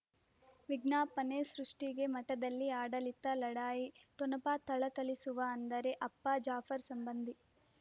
ವಿಜ್ಞಾಪನೆ ಸೃಷ್ಟಿಗೆ ಮಠದಲ್ಲಿ ಆಡಳಿತ ಲಢಾಯಿ ಠೊಣಪ ಥಳಥಳಿಸುವ ಅಂದರೆ ಅಪ್ಪ ಜಾಫರ್ ಸಂಬಂಧಿ